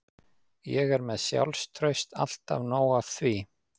Ég er með sjálfstraust, alltaf nóg af því.